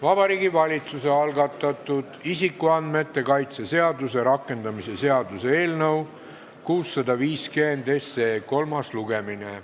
Vabariigi Valitsuse algatatud isikuandmete kaitse seaduse rakendamise seaduse eelnõu 650 kolmas lugemine.